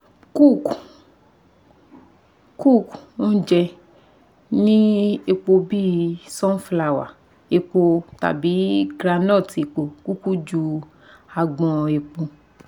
Cook ounje ni epo bi sunflower epo tabi groundnut epo kuku ju agbon epo